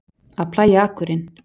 Að plægja akurinn